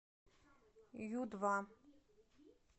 ю два